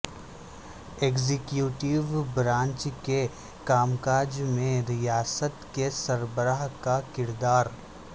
executive branch کے کام کاج میں ریاست کے سربراہ کا کردار